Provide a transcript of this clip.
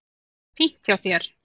Fínt hjá þér.